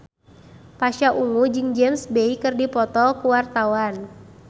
Pasha Ungu jeung James Bay keur dipoto ku wartawan